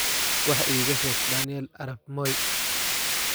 wax iiga sheeg daniel arap moi